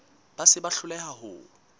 ba se ba hloleha ho